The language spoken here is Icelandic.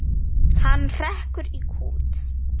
Hann hrekkur í kút.